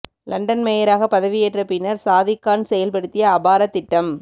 London மேயராக பதவியேற்ற பின்னர் சாதிக் கான் செயல்படுத்திய அபார திட்டம்